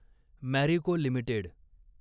Marico limited